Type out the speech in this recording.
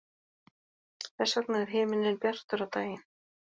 Þess vegna er himinninn bjartur á daginn.